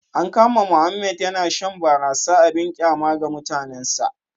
An kama Mohammed yana shan barasa abin kyama ga mutanensa